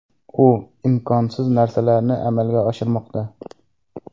U imkonsiz narsalarni amalga oshirmoqda.